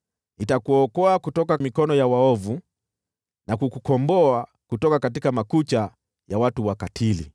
“Nitakuokoa kutoka mikono ya waovu, na kukukomboa kutoka makucha ya watu wakatili.”